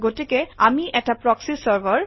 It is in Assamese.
গতিকে আমি এটা প্ৰসী চাৰ্ভাৰ